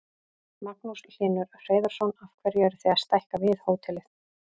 Magnús Hlynur Hreiðarsson: Af hverju eruð þið að stækka við hótelið?